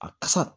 A kasa